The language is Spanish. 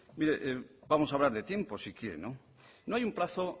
mire vamos a hablar de tiempo si quiere no hay un plazo